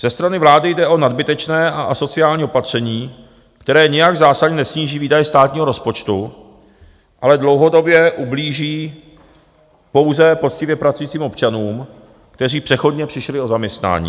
Ze strany vlády jde o nadbytečné a asociální opatření, které nijak zásadně nesníží výdaje státního rozpočtu, ale dlouhodobě ublíží pouze poctivě pracujícím občanům, kteří přechodně přišli o zaměstnání.